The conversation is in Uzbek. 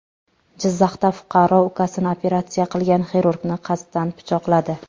Jizzaxda fuqaro ukasini operatsiya qilgan xirurgni qasddan pichoqladi.